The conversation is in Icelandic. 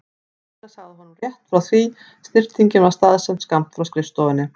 Kamilla sagt honum rétt frá því snyrtingin var staðsett skammt frá skrifstofunni.